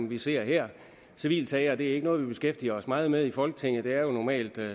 vi ser her civile sager er ikke noget vi beskæftiger os meget med i folketinget det er jo normalt